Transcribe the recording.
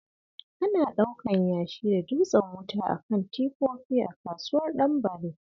Ana ɗaukan yashi da dutsen wuta a kan tifofi a kasuwar Ɗanbare